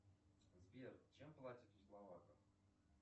сбер чем платят у словаков